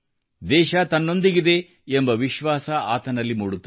ದೇಶ ತನ್ನೊಂದಿಗಿದೆ ಎಂಬ ವಿಶ್ವಾಸ ಆತನಲ್ಲಿ ಮೂಡುತ್ತದೆ